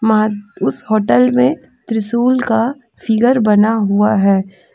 मां उस होटल में त्रिशूल का फिगर बना हुआ है।